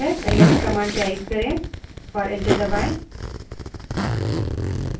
ls command type करें और enter दबायें